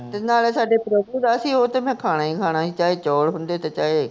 ਤੇ ਨਾਲੇ ਸਾਡੇ ਪ੍ਰਭੂ ਦਾ ਸੀ, ਉਹ ਤਾ ਮੈਂ ਖਾਣਾ ਹੀ ਖਾਣਾ ਸੀ, ਚਾਹੇ ਚੌਲ ਹੁੰਦੇ ਤੇ ਚਾਹੇ